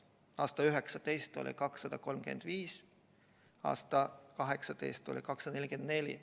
Aastal 2019 oli neid 235, aastal 2018 oli 244.